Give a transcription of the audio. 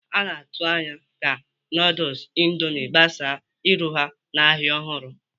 A na-atụ anya ka nudul Indomie gbasaa iru ha n'ahịa ọhụrụ.